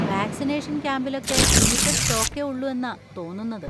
Vaccination ക്യാമ്പിലൊക്കെ limited സ്റ്റോക്കേ ഉള്ളൂ എന്നാ തോന്നുന്നത്.